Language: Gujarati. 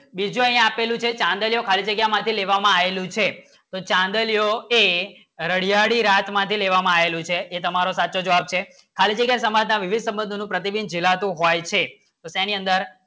બીજો યહ અખેલો છે ખાલી જગ્યા માટે લેવા આવેલું છે તો ચાંદ લિયે A રાડિયાળી રાત માં લેવા માં આવેલો છે એ તમારો સાચો જવાબ છે ખાલી જગ્ય સાંજનો વિવિધ સાંજનો પ્રતિબિંબજેલતો હોય છે તો તેની અંદર